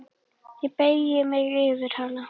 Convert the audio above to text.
Ég beygi mig yfir hana.